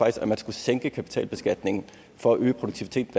at man skulle sænke kapitalbeskatningen for at øge produktiviteten